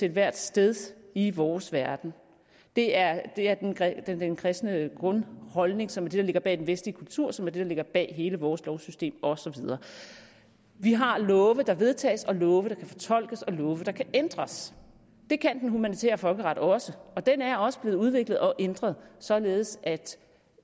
ethvert sted i vores verden det er den kristne grundholdning som er det der ligger bag den vestlige kultur som er det der ligger bag hele vores lovsystem og så videre vi har love der vedtages og love der kan fortolkes og love der kan ændres det kan den humanitære folkeret også og den er også blevet udviklet og ændret således at